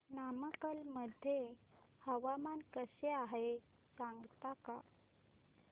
नमक्कल मध्ये हवामान कसे आहे सांगता का